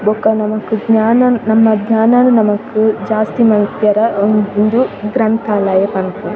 ಬೊಕ ನಮಕ್ ಜ್ನಾನನ್ ನಮ್ಮ ಜ್ನಾನನ್ ನಮಕ್ ಜಾಸ್ತಿ ಮಲ್ಪುವೆರೆ ಉಂದು ಗ್ರಂಥಾಲಯ ಪನ್ಪ.